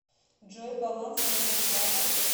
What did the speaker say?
джой баланс моего вклада